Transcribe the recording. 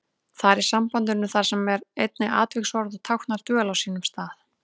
Þar í sambandinu þar sem er einnig atviksorð og táknar dvöl á stað.